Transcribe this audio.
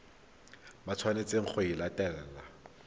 ba tshwanetseng go e latela